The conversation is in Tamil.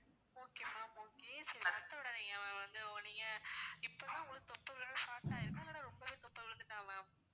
okay ma'am okay சரி வருத்தப்படாதீங்க ma'am வந்து நீங்க இப்போதான் உங்களுக்கு தொப்பை விழ start ஆகியிருக்கும் இல்லன்னா ரொம்பவே தொப்பை விழுந்துட்டா ma'am